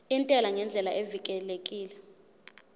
intela ngendlela evikelekile